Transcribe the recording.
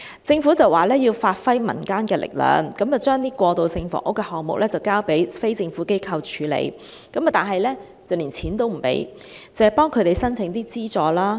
政府表示要發揮民間力量，把過渡性房屋的項目交由非政府機構處理，但不撥款，只為它們申請資助。